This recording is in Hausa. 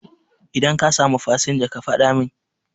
Idan ka samu fasinja ka faɗa min